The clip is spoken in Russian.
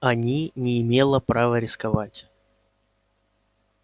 они не имела права рисковать